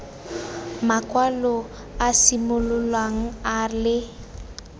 makwalo a simololang a le